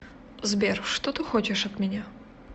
сбер что ты хочешь от меня